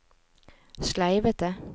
sleivete